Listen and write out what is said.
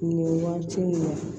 Nin ye waati in na